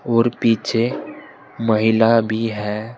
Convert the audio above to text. और पीछे महिला भी है।